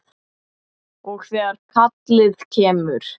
Og þegar kallið kemur.